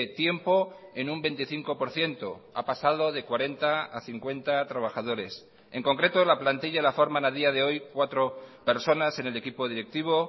tiempo en un veinticinco por ciento ha pasado de cuarenta a cincuenta trabajadores en concreto la plantilla la forman a día de hoy cuatro personas en el equipo directivo